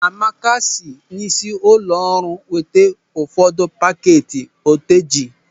Amaka si n'isi ụlọ ọrụ weta ụfọdụ pakeeti oteji.